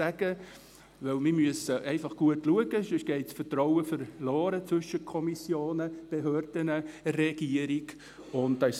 Denn wir müssen gut aufpassen, sonst geht das Vertrauen zwischen Kommissionen, Behörden und Regierung verloren.